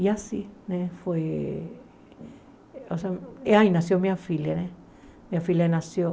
E assim né foi... Aí nasceu minha filha né, minha filha nasceu.